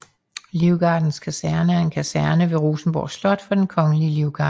Livgardens Kaserne er en kaserne ved Rosenborg Slot for Den Kongelige Livgarde